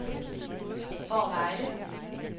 Fårevejle